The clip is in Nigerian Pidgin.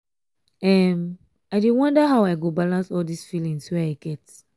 um i dey wonder how i go balance all dis feelings wey um i get